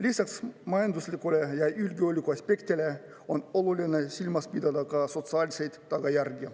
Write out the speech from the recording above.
Lisaks majanduslikule ja julgeoleku aspektile on oluline silmas pidada ka sotsiaalseid tagajärgi.